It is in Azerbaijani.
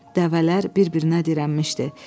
Dəvələr bir-birinə dirənmişdi.